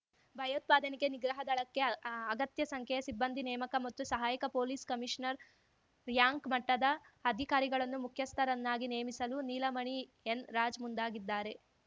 ಭಯೋತ್ಪಾದನೆ ನಿಗ್ರಹ ದಳಕ್ಕೆ ಅಗತ್ಯ ಸಂಖ್ಯೆಯ ಸಿಬ್ಬಂದಿ ನೇಮಕ ಮತ್ತು ಸಹಾಯಕ ಪೊಲೀಸ್ ಕಮಿಷನರ್ ರ್‍ಯಾಂಕ್‌ ಮಟ್ಟದ ಅಧಿಕಾರಿಗಳನ್ನು ಮುಖ್ಯಸ್ಥರನ್ನಾಗಿ ನೇಮಿಸಲು ನೀಲಮಣಿ ಎನ್ರಾಜ್ ಮುಂದಾಗಿದ್ದಾರೆ